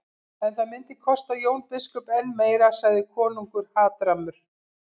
En það myndi kosta Jón biskup enn meira, sagði konungur hatrammur.